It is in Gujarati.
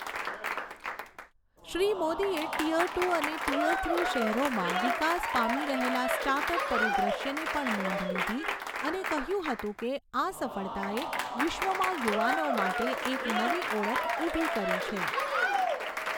શ્રી મોદીએ ટીઅર ટુ અને ટીઅર થ્રી શહેરોમાં વિકાસ પામી રહેલા સ્ટાર્ટઅપ પરિદૃશ્યની પણ નોંધ લીધી અને કહ્યું હતું કે, આ સફળતાએ વિશ્વમાં યુવાનો માટે એક નવી ઓળખ ઊભી કરી છે.